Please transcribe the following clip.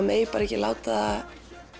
megi ekki láta